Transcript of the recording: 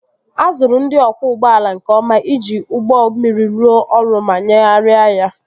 A zụrụ ndị ọkwọ ụgbọala nke ọma iji ụgbọ mmiri rụọ ọrụ ma nyagharịa ya